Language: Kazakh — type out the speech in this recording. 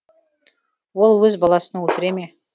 ол өз баласын өлтіре ме